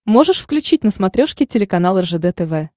можешь включить на смотрешке телеканал ржд тв